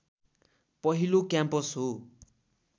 पहिलो क्याम्पस हो